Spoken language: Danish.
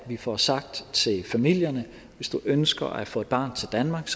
at vi får sagt til familierne hvis i ønsker at få et barn til danmark